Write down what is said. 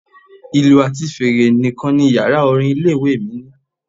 Ìlù àti fèrè nìkan ni Yàrá orin ilé ìwée mi ní.